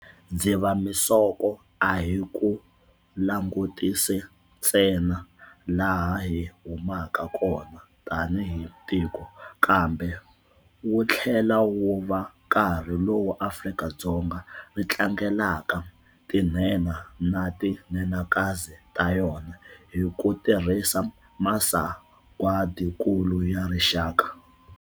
Dzivamisoko a hi ku langutisi sa ntsena laha hi humaka kona tanihi tiko, kambe wu tlhela wu va nkarhi lowu Afrika-Dzonga ri tlangelaka tinhenha na ti nhenhakazi ta yona hi ku tirhisa Masagwadinkulu ya Rixaka.